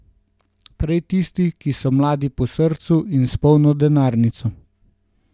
Prej tisti, ki so mladi po srcu in s polno denarnico.